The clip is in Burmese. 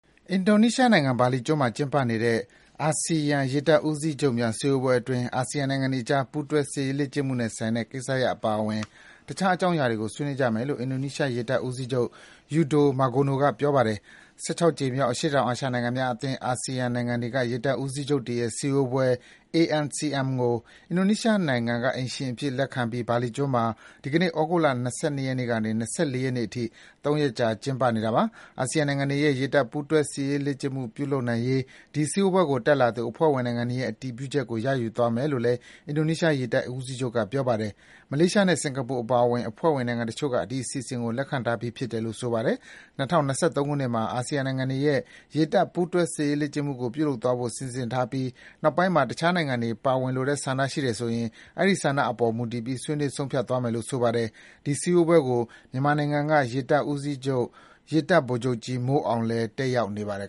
အင်ဒိုနီးရှားနိုင်ငံ၊ ဘာလီကျွန်းမှာကျင်းပနေတဲ့ အာဆီယံ ရေတပ်ဦးစီးချုပ်များ စည်းဝေးပွဲအတွင်း အာဆီယံနိုင်ငံတွေအကြား ပူးတွဲ စစ်ရေးလေ့ကျင့်မှုနဲ့ဆိုင်တဲ့ ကိစ္စရပ်အပါအဝင် တခြား အကြောင်းအရာတွေကို ဆွေးနွေးကြမယ်လို့ အင်ဒိုနီးရှားရေတပ်ဦးစီးချုပ် Yudo Margono က ပြောပါတယ်။ ၁၆ ကြိမ်မြောက် အရှေ့တောင်အာရှနိုင်ငံများအသင်း အာဆီယံနိုင်ငံတွေက ရေတပ်ဦးစီးချုပ်တွေရဲ့ စည်းဝေးပွဲ (ANCM) ကို အင်ဒိုနီးရှားက အိမ်ရှင်အဖြစ်လက်ခံပြီး ဘာလီကျွန်းမှာ ဒီကနေ့ သြဂုတ်လ ၂၂ ရက်ကနေ ၂၄ ရက်နေ့အထိ ၃ ရက်ကြာ ကျင်းပနေတာပါ။ အာဆီယံနိုင်ငံတွေရဲ့ ရေတပ် ပူးတွဲစစ်ရေးလေ့ကျင့် ပြုလုပ်နိုင်ရေး ဒီစည်းဝေးပွဲကို တက်လာသူ အဖွဲ့ဝင်နိုင်ငံတွေရဲ့အတည်ပြုချက်ကို ရယူသွားမယ်လို့လည်း အင်ဒိုနီးရှား ရေတပ်ဦးစီးချုပ်က ပြောပါတယ်။ မလေးရှားနဲ့ စင်္ကာပူအပါအဝင် အဖွဲ့ဝင်နိုင်ငံတချို့က ဒီအစီအစဉ်ကို လက်ခံထားကြပြီးဖြစ်တယ်လို့ ဆိုပါတယ်။ ၂၀၂၃ ခုနှစ်မှာ အာဆီယံနိုင်ငံတွေရဲ့ ရေတပ် ပူးတွဲစစ်ရေးလေ့ကျင့်မှုကို ပြုလုပ်သွားဖို့ စီစဉ်ထားပြီး နောက်ပိုင်းမှာ တခြား နိုင်ငံတွေ ပါဝင်လိုတဲ့ ဆန္ဒရှိတယ်ဆိုရင် အဲဒီဆန္ဒအပေါ်မူတည်ပြီး ဆွေးနွေးဆုံးဖြတ်သွားမယ်လို့ ဆိုပါတယ်။ ဒီစည်းဝေးပွဲကို မြန်မာနိုင်ငံက ရေတပ်ဦးစီးချုပ် ရေတပ်ဗိုလ်ချုပ်ကြီး မိုးအောင်လည်း တက်ရောက်နေပါတယ်